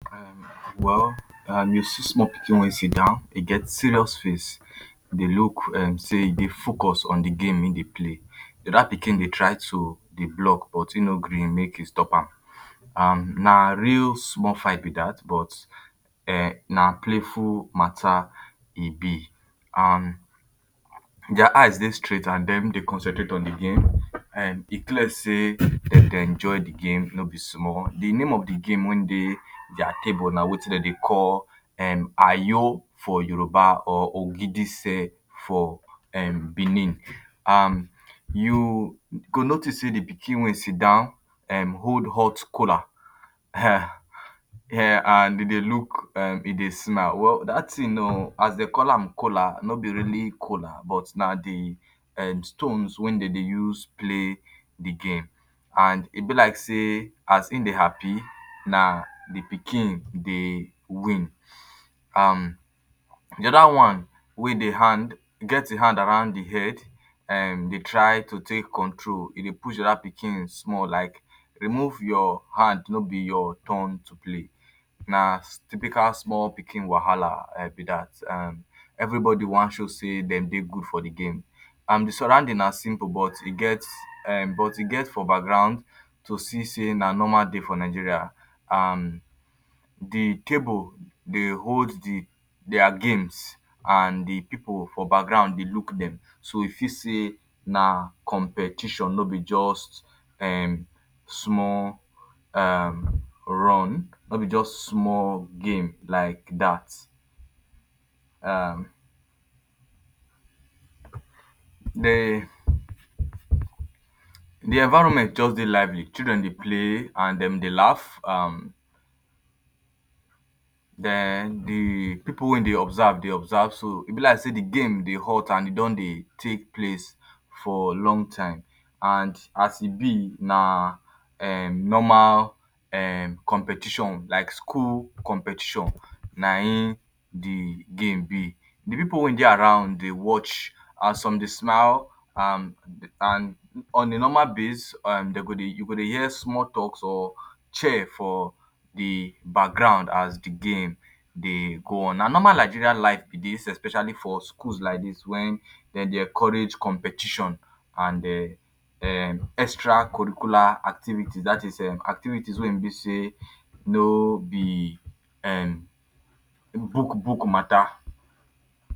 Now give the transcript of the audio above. Well, you see small pikin wey sidon, e get serious face, di look say e dey focus on di game im dey play. Di oda pikin dey try to dey block but im no gree make im stop am. um Na real small fight be that but um na playful matta e be um dia eyes dey straight and dem dey concentrate on di game. E clear say dey dey enjoy di game no be small. Di name of di game wey dey dia table na wetin dem dey call um ayo for Yoruba or ogidise for um Benin. You go notice say di pikin wey sit down hold hot kola um and dem dey look, e dey smile. Well, that tin o, as dey call am kola, no be really kola but na di um stones wey dem dey use play di game and e be like say as im dey happy, na di pikin dey win. um Di other one wey dey hand, e get hand around di head, im dey try to take control. E dey push di oda pikin small like, remove your hand, no be your turn to play. Na typical small pikin wahala be that.[um] Everybody wan show say dem dey good for di game. um Di surrounding na simple but e get for um background to see say na normal day for Nigeria and di table dey hold dia games and Di pipu for background dey look dem so e fit say na competition, no be just um small run, no be just small game like that. um Di environment just dey lively. Children dey play and dem dey laugh. Den di pipu wey dey observe dey observe, so e be like say di game dey hot and e don dey take place for long time. As e be, na normal competition like school competition na im di game be. Di pipu wey dey around dey watch and some dey smile. On di normal base, you go dey hear small talk or cheer for di background as di game dey go on. Na normal Nigerian life be dis, especially for schools like dis wen dem dey encourage competition and extra curricula activities — that is, ehm, activities wey be say no be um book book matta.